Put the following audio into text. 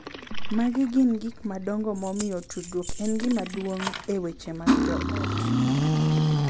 Magi gin gik madongo momiyo tudruok en gima duong’ e weche mag joot: